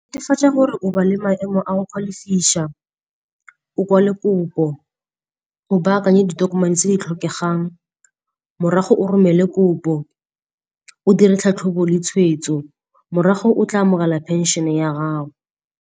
Netefatsa gore o ba le maemo a go kgwa lefisa o kwala kopo, o baakanye ditokomane tse di tlhokegang. Morago o romele kopo, o dire tlhatlhobo le tshwetso, morago o tla amogela phenšhene ya gago.